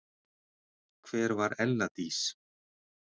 Hver var Ella Dís?